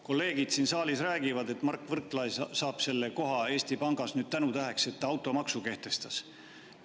Kolleegid siin saalis räägivad, et Mart Võrklaev saab selle koha Eesti Pangas tänutäheks, et ta automaksu kehtestas.